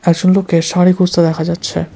একজন লোককে শাড়ি খুঁজতে দেখা যাচ্ছে।